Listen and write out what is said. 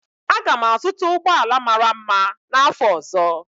Aga m azụta ụgbọ ala mara mma n'afọ ọzọ.